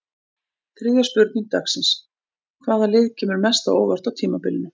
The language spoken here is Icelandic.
Þriðja spurning dagsins: Hvaða lið kemur mest á óvart á tímabilinu?